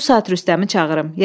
Bu saat Rüstəmi çağırım.